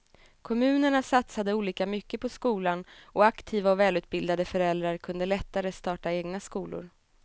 Kommunerna satsade olika mycket på skolan och aktiva och välutbildade föräldrar kunde lättare starta egna skolor.